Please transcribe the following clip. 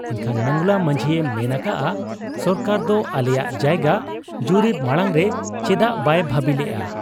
ᱮᱱᱠᱷᱟᱱ ᱢᱚᱸᱜᱽᱞᱟ ᱢᱟᱹᱡᱷᱤᱭᱮ ᱢᱮᱱ ᱟᱠᱟᱜ ᱟ ᱥᱚᱨᱠᱟᱨ ᱫᱚ ᱟᱞᱮᱭᱟᱜ ᱡᱟᱭᱜᱟ ᱡᱩᱨᱤᱯ ᱢᱟᱬᱟᱝᱨᱮ ᱪᱮᱫᱟᱜ ᱵᱟᱭ ᱵᱷᱟᱹᱵᱤ ᱞᱮᱜ ᱟ ᱾